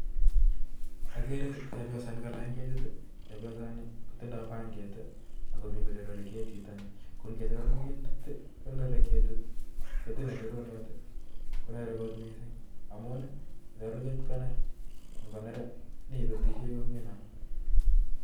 Agere chepyoset nekalany ketit chepyosani kotindoi panget akomi kochorori ketitni ko ngechoror ketit konere ketit. ketit nechororoot konere kot miising' amun ketit koner, ngoner nebetishie kometinye ng'al